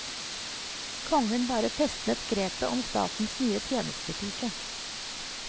Kongen bare festnet grepet om statens nye tjenestepike.